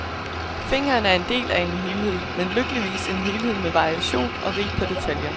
Fingeren er del af en helhed, men lykkeligvis en helhed med variation og rig på detaljer.